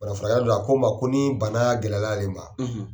Bana furakɛla dɔ a ko ma ko ni gɛlɛya ale ma